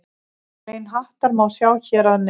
Grein Hattar má sjá hér að neðan.